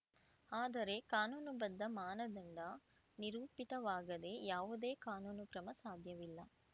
ಆದರೆ ಕಾನೂನು ಬದ್ಧ ಮಾನದಂಡ ನಿರೂಪಿತವಾಗದೆ ಯಾವುದೇ ಕಾನೂನು ಕ್ರಮ ಸಾಧ್ಯವಿಲ್ಲ